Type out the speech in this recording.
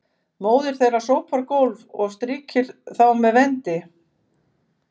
móðir þeirra sópar gólf og strýkir þá með vendi